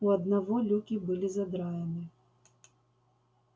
у одного люки были задраены